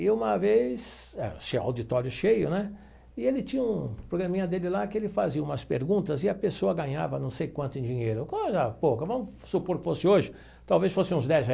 E uma vez, ah tinha auditório cheio, né, e ele tinha um programinha dele lá que ele fazia umas perguntas e a pessoa ganhava não sei quanto em dinheiro, coisa pouca, vamos supor que fosse hoje, talvez fosse uns dez